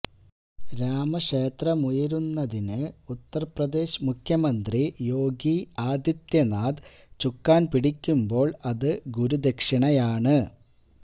രാമക്ഷേത്രമുയരുന്നതിന് ഉത്തര്പ്രദേശ് മുഖ്യമന്ത്രി യോഗി ആദിത്യനാഥ് ചുക്കാന് പിടിക്കുമ്പോള് അത് ഗുരുദക്ഷിണയാണ്